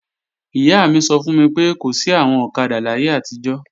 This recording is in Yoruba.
Ìyá mi sọ fún mi pé, kò sí àwọn ọ̀kadà láyé àtijọ́